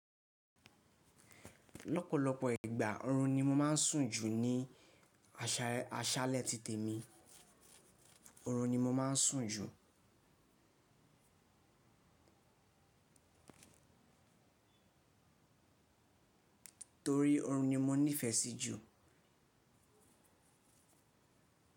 Lọ́pọ̀lọpọ̀ ìgbà orun ni mo máa ń sùn jù ní àṣàlẹ̀ títè mi. Orun ni mo máa ń sùn jù torí oorun ni mo nífẹ sí jù.